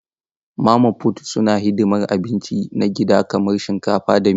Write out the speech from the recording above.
Mama fut suna hidimar abinci na gida kamar shinkafa da miya.